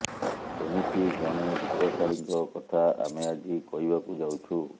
ସେମିତି ଜଣେ ବିତ୍ତଶାଳୀଙ୍କ କଥା ଆମେ ଆଜି କହିବାକୁ ଯାଉଛୁ